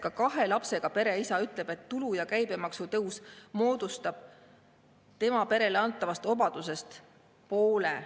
Ka kahe lapsega pere isa ütleb, et tulu‑ ja käibemaksu tõus moodustab tema perele antavast obadusest poole.